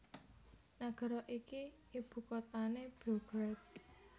Nagara iki ibukuthané Beograd